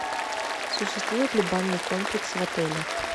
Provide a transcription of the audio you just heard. существует ли банный комплекс в отеле